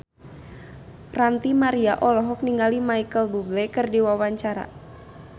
Ranty Maria olohok ningali Micheal Bubble keur diwawancara